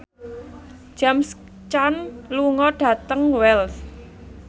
James Caan lunga dhateng Wells